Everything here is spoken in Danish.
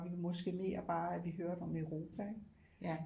Vi måske mere bare at vi hørte om Europa ikke